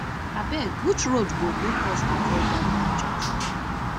abeg which road go make us avoid dat bad junction